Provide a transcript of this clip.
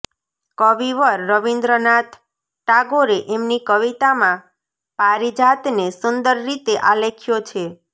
કવિવર રવીન્દ્રનાથ ટાગોરે એમની કવિતામાં પારિજાતને સુંદર રીતે આલેખ્યો છે